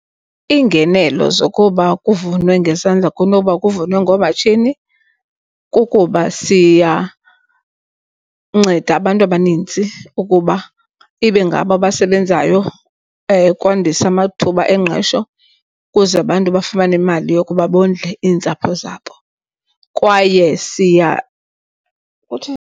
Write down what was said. Iingenelo zokuba kuvunwe ngezandla kunoba kuvunwe ngoomatshini kukuba siyanceda abantu abaninzi ukuba ibe ngabo abasebenzayo, kwandisa amathuba engqesho ukuze abantu bafumane imali yokuba bondle iintsapho zabo kwaye siya .